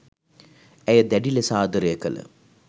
ඇය දැඩි ලෙස ආදරය කළ